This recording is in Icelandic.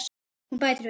Hún bætir við.